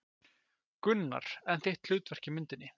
Gunnar: En þitt hlutverk í myndinni?